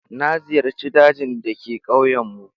Na ziyarci dajin da ke ƙauyenmu.